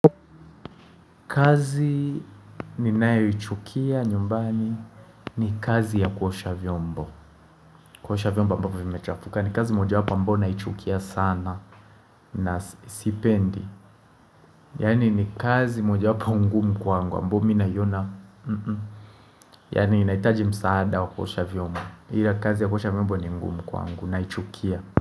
Kazi ninae uichukia nyumbani ni kazi ya kuosha vyombo. Kuosha vyombo ambavyo vimechafuka. Ni kazi moja wapo ambao naichukia sana na siipendi. Yani ni kazi moja wapo ngumu kwangu ambao minayona. Yani inaitaji msaada wa kuosha vyombo. Ila kazi ya kuosha vyombo ni ngumu kwangu naichukia.